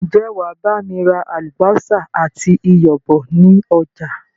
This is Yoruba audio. Ń jẹ́ wàá bami ra àlùbósà àti iyọ̀ bọ̀ ni ọjà?